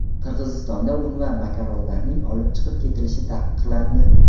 Qirg‘izistonda un va makaronlarning olib chiqib ketilishi taqiqlandi.